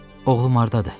Oğlum hardadır?